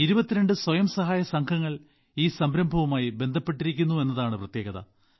22 സ്വയം സഹായ സംഘങ്ങൾ ഈ സംരംഭവുമായി ബന്ധപ്പെട്ടിരിക്കുന്നു എന്നതാണ് പ്രത്യേകത